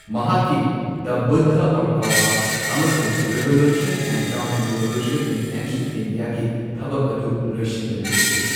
ꯃꯍꯥꯛꯀꯤ the Buddha Buddha or Karl Marx ꯑꯃꯁꯨꯡ revolution and counter revolution in ancient India ꯒꯤ ꯊꯕꯛ ꯑꯗꯨ ꯂꯣꯢꯁꯤꯟꯗꯅ ꯂꯩꯈꯤ꯫